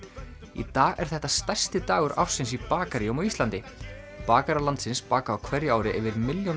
í dag er þetta stærsti dagur ársins í bakaríum á Íslandi bakarar landsins baka á hverju ári yfir milljón